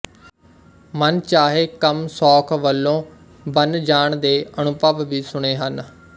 ਮਨ ਚਾਹੇ ਕੰਮ ਸੌਖ ਵਲੋਂ ਬੰਨ ਜਾਣ ਦੇ ਅਨੁਭਵ ਵੀ ਸੁਣੇ ਹਨ